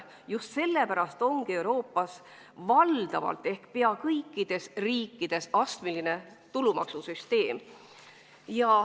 Just sellepärast ongi Euroopas pea kõikides riikides astmeline tulumaksusüsteem.